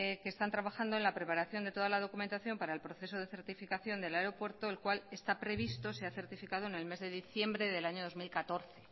que están trabajando en la preparación de toda la documentación para el proceso de certificación del aeropuerto el cual está previsto sea certificado en el mes diciembre del año dos mil catorce